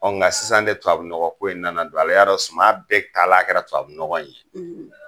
Ɔn nga sisan de tubabunɔgɔ ko in de nana don a la, ya dɔn sisan suma bɛɛ taalan kɛra tubabu nɔgɔ ye.